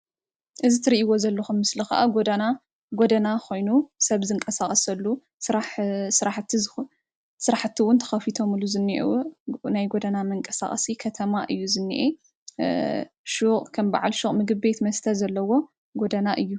እዚ ትርእይዎ ዘለኹም ምስሊ ኽዓ ጎዳና ኮይኑ ሰብ ዝንቀሳቀሰሉ ስራሕቲ እዉን ተኸፊቶሙሉ ዝንኤዉን ናይ ጎዳና መንቀሳቐሲ ከተማ እዩ ዝንኤ ሹቕ ከም ብዓል ሹቕ ፣ ምግብ ቤት መስተ ዘለዎ ጎዳና እዩ።